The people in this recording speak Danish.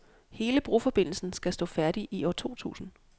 Hele broforbindelsen skal stå færdig i år totusind.